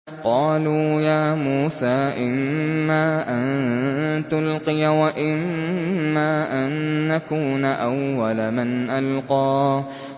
قَالُوا يَا مُوسَىٰ إِمَّا أَن تُلْقِيَ وَإِمَّا أَن نَّكُونَ أَوَّلَ مَنْ أَلْقَىٰ